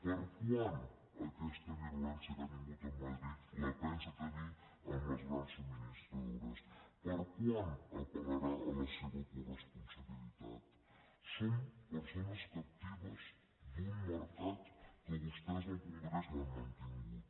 per a quan aquesta virulència que ha tingut a madrid la pensa tenir amb les grans subministradores per a quan apellarà a la seva coresponsabilitat som persones captives d’un mercat que vostès al congrés l’han mantingut